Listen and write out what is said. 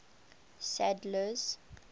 sadler's